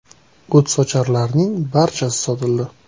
“O‘tsocharlarning barchasi sotildi.